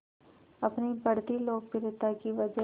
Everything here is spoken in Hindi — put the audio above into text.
अपनी बढ़ती लोकप्रियता की वजह